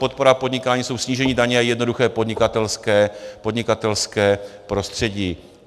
Podpora podnikání je snížení daně a jednoduché podnikatelské prostředí.